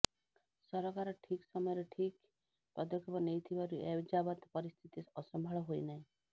ସରକାର ଠିକ୍ ସମୟରେ ଠିକ୍ ପଦକ୍ଷେପ ନେଇଥିବାରୁ ଏଯାବତ ପରିସ୍ଥିତି ଅସମ୍ଭାଳ ହୋଇ ନାହିଁ